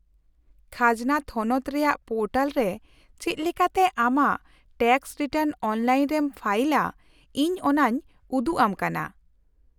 -ᱠᱷᱟᱡᱽᱱᱟ ᱛᱷᱚᱱᱚᱛ ᱨᱮᱭᱟᱜ ᱯᱳᱨᱴᱟᱞ ᱨᱮ ᱪᱮᱫ ᱞᱮᱠᱟᱛᱮ ᱟᱢᱟᱜ ᱴᱮᱠᱥ ᱨᱤᱴᱟᱨᱱ ᱚᱱᱞᱟᱭᱤᱱ ᱨᱮᱢ ᱯᱷᱟᱭᱤᱞᱟ ᱤᱧ ᱚᱱᱟᱧ ᱩᱫᱩᱜ ᱟᱢ ᱠᱟᱱᱟ ᱾